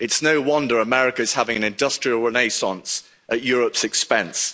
It's no wonder America is having an industrial renaissance at Europe's expense.